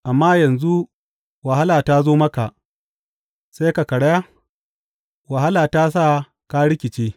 Amma yanzu wahala ta zo maka, sai ka karaya; wahala ta sa ka rikice.